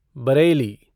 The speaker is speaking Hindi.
बरेली,